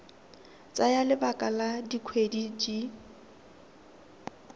tsaya lebaka la dikgwedi di